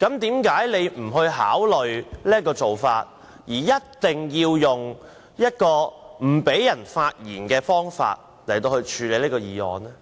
何你不考慮這個安排，而一定要用限制議員發言的方式來處理這個議案？